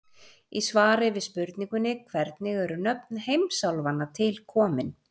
Í svari við spurningunni Hvernig eru nöfn heimsálfanna til komin?